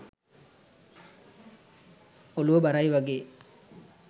ඔලුව බරයි වගේ.